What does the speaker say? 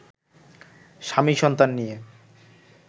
স্বামী-সন্তান নিয়ে